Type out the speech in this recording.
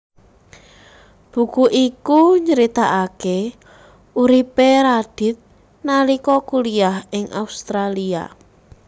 Buku iku nyeritakaké uripé Radith nalika kuliah ing Australia